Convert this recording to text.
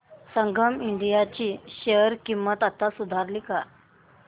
संगम India ची share किंमत आता सुधारली का